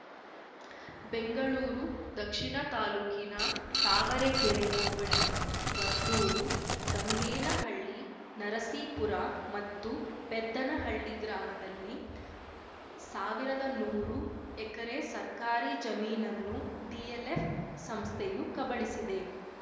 ಬೆಂಗಳೂರು ದಕ್ಷಿಣ ತಾಲೂಕಿನ ತಾವರೆಕೆರೆ ಹೋಬಳಿಯ ವರ್ತೂರು ಗಂಗೇನಹಳ್ಳಿ ನರಸೀಪುರ ಮತ್ತು ಪೆದ್ದನಹಳ್ಳಿ ಗ್ರಾಮದಲ್ಲಿ ಸಾವಿರದ ನೂರು ಎಕರೆ ಸರ್ಕಾರಿ ಜಮೀನನ್ನು ಡಿಎಲ್‌ಎಫ್‌ ಸಂಸ್ಥೆಯು ಕಬಳಿಸಿದೆ